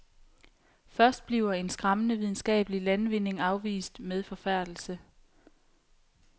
Først bliver en skræmmende videnskabelig landvinding afvist med forfærdelse.